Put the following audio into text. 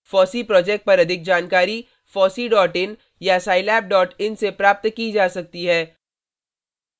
fossee project पर अधिक जानकारी